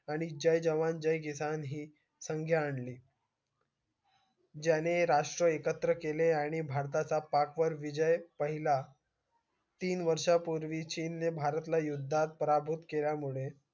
आणि जय जवान जय किसान हि संगे आणली ज्यांनी राष्ट्र एकत्र केले आणि भारताचा पाक वर विजय पहिला तीन वर्षा पूर्वी ची चीन नि भरला पराभूत केल्या मुळे